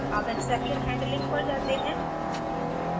अब exception handling पर जाते हैं